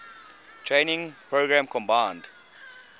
training program combined